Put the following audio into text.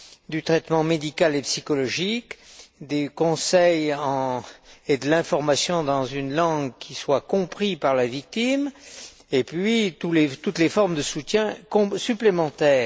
du traitement médical et psychologique, des conseils et de l'information, dans une langue qui soit comprise par la victime, et puis de toutes les formes de soutien supplémentaires.